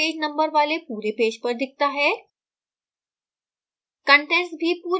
शीर्षक बिना page number वाले पूरे पेज पर दिखता है